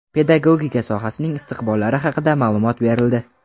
pedagogika sohasining istiqbollari haqida ma’lumot berildi.